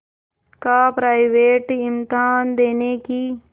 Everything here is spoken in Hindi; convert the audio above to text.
का प्राइवेट इम्तहान देने की